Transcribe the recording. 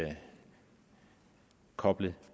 koble